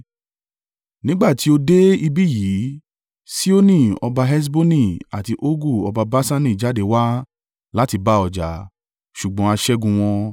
Nígbà tí o dé ibí yìí, Sihoni ọba Heṣboni àti Ogu ọba Baṣani jáde wá láti bá ọ jà, ṣùgbọ́n a ṣẹ́gun wọn.